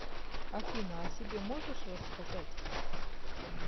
афина о себе можешь рассказать